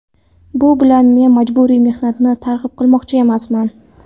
Bu bilan men majburiy mehnatni targ‘ib qilmoqchi emasman.